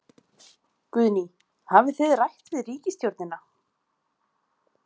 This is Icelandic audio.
Guðný: Hafið þið rætt við ríkisstjórnina?